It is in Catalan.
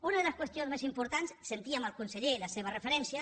una de les qüestions més importants sentíem al conseller la seva referència